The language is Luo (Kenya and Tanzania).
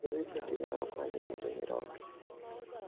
Yedhe bende nyalo konyo e rito nyiroke.